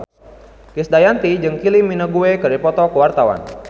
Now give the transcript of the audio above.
Krisdayanti jeung Kylie Minogue keur dipoto ku wartawan